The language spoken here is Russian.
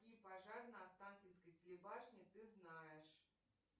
какие пожар на останкинской телебашне ты знаешь